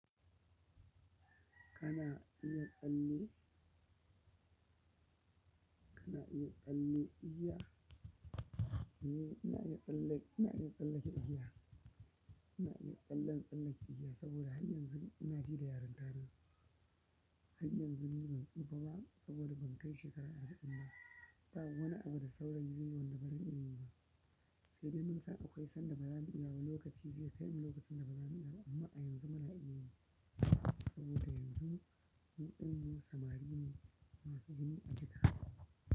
Kana iya tsalle? Kana iya tsalle igiya? Eh, ina iya tsallen ina iya tsallake igiya. Ina iya tsallan tsallan igiya saboda har yanzu ina ji da yarintana hayyanzu ni ban tsufa ba saboda ban kai shekara arba'in ba ba wani abu da saurayi zaiyi wanda baran iya yi ba sai dai mun san akwai sanda baza mu iya ba lokaci zai kaimu lokacin da baza mu iya ba amma a yanzu muna iya yi saboda yanzu mu ɗin mu samari ne masu jini jika.